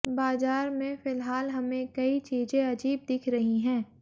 बाजार में फिलहाल हमें कई चीजें अजीब दिख रही हैं